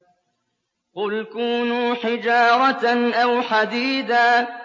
۞ قُلْ كُونُوا حِجَارَةً أَوْ حَدِيدًا